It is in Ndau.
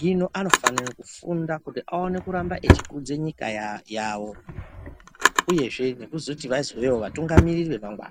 Hino anofanira kufunda kuti aone kuramba echikudza nyika yavo. Uyezve nekuzoti vazovewo vatungamiriri vemangwana.